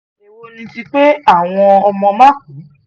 èwo ni ti pé àwọn ọmọ máa kú